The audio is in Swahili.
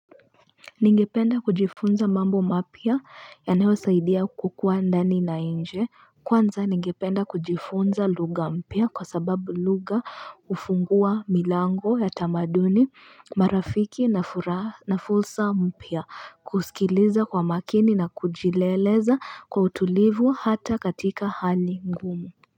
Ningependa kujifunza mambo mapya yanayosaidia kukuwa ndani na nje kwanza ningependa kujifunza lugha mpya kwa sababu lugha hufungua milango ya tamaduni marafiki na furaha na fursa mpya kusikiliza kwa makini na kujileleza kwa utulivu hata katika hali ngumu.